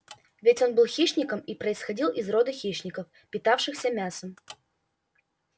ведь он был хищником и происходил из рода хищников питавшихся мясом